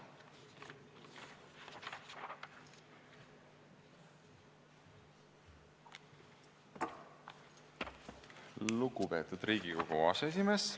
Lugupeetud Riigikogu aseesimees!